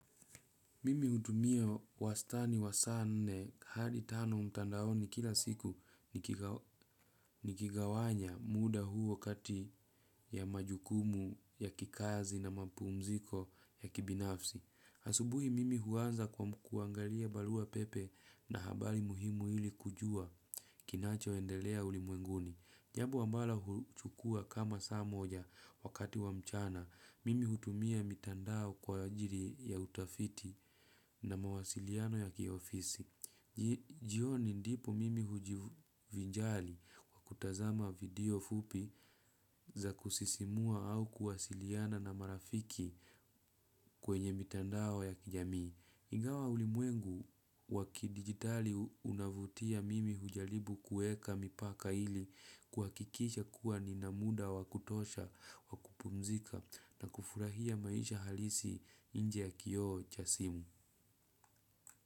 Mimi hutumia wastani wa sane hadi tano mtandaoni kila siku nikigawanya muda huo kati ya majukumu ya kikazi na mapumziko ya kibinafsi. Asubuhi mimi huanza kuangalia balua pepe na habari muhimu ili kujua kinacho endelea ulimuenguni. Jambo ambalo huchukua kama saa moja wakati wa mchana, mimi hutumia mitandao kwajiri ya utafiti na mawasiliano ya kiofisi. Jioni ndipo mimi hujivinjali kwa kutazama video fupi za kusisimua au kuwasiliana na marafiki kwenye mitandao ya kijamii. Ingawa ulimwengu wakidigitali unavutia mimi hujalibu kueka mipaka ili kuhakikisha kuwa ninamuda wakutosha wakupumzika na kufurahia maisha halisi inje ya kioo cha simu.